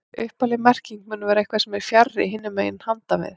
Upphafleg merking mun vera eitthvað sem er fjarri, hinum megin, handan við